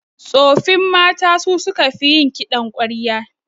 Tsoffin mata su suka fi yin kiɗan ƙwarya